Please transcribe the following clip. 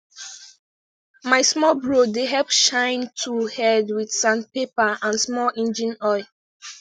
my small bro dey help shine tool head wit sandpaper and small engine oil